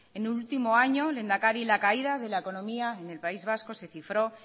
en el último año lehendakari la caída de la economía en el país vasco se cifró